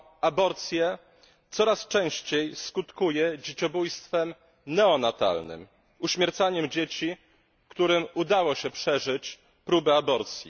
aborcję coraz częściej skutkuje dzieciobójstwem neonatalnym, uśmiercaniem dzieci, którym udało się przeżyć próbę aborcji.